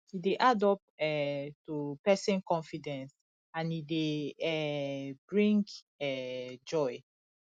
e de add up um to persin confidence and e de um bring um joy